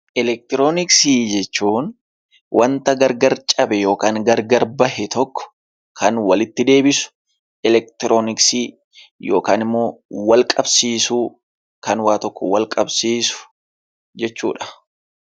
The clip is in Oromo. Elektroniksii jechuun wanta gargar cabe yookaan gargara bahee tokko kan walitti deebisu elektroniksii yookiin wal qabsiisuu kan waan tokko wal qabsiisu jechuudha.